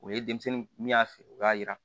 O ye denmisɛnnin min y'a feere o y'a jira